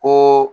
Ko